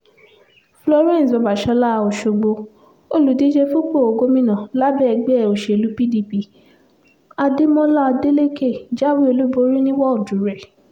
florence babàsọ́lá ọ̀ṣọ́gbó olùdíje fúnpọ̀ gómìnà lábẹ́ ẹgbẹ́ òsèlú pdp adémọlá adeleke jáwé olúborí ní wọ́ọ̀dù rẹ̀